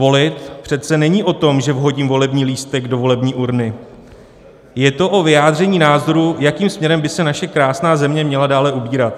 Volit přece není o tom, že vhodím volební lístek do volební urny, je to o vyjádření názoru, jakým směrem by se naše krásná země měla dále ubírat.